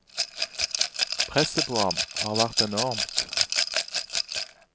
Presset på ham har vært enormt.